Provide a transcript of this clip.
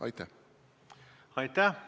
Aitäh!